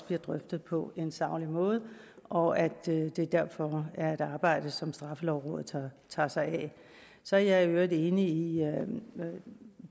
bliver drøftet på en saglig måde og at det derfor er et arbejde som straffelovrådet tager sig af så er jeg i øvrigt enig i